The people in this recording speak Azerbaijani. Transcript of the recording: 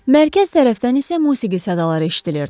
Mərkəz tərəfdən isə musiqi sədaları eşidilirdi.